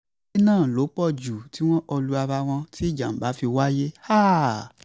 èrè náà ló pọ̀ jù tí wọn kò lu ara wọn tí ìjàm̀bá fi wáyé